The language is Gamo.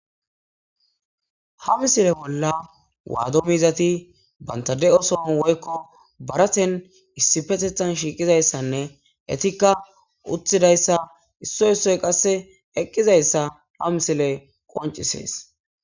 ha misile bolla waado mizati banta de'soon woykko baraten issipetethan shiiqizayssanne etikka utthidayssa isso issoy qasse eqqizayssa ha misile qoncisees